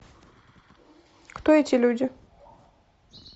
кто эти люди